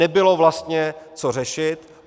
Nebylo vlastně co řešit.